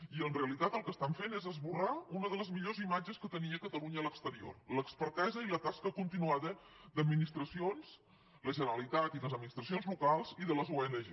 i en realitat el que estan fent és esborrar una de les millors imatges que tenia catalunya a l’exterior l’expertesa i la tasca continuada d’administracions la generalitat i les administracions locals i de les ong